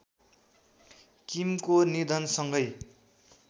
किमको निधनसँगै